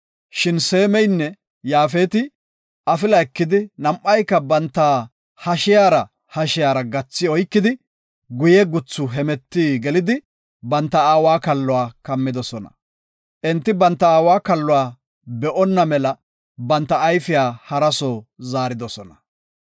Shin Seeminne Yaafeti afila ekidi, nam7ayka banta hashiyara hashiyara gathi oykidi, guye guthu hemeti gelidi, banta aawa kalluwa kammidosona. Enti banta aawa kalluwa be7oona mela banta ayfiya haraso zaaridosona.